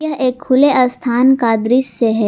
यह एक खुले स्थान का दृश्य है।